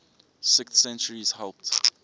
sixth centuries helped